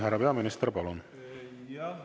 Härra peaminister, palun!